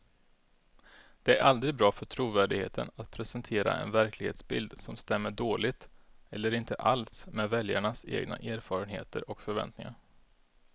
Det är aldrig bra för trovärdigheten att presentera en verklighetsbild som stämmer dåligt eller inte alls med väljarnas egna erfarenheter och förväntningar.